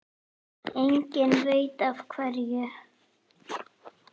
Enginn veit af hverju.